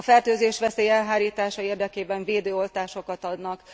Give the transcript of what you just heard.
A fertőzésveszély elhárítása érdekében védőoltásokat adnak.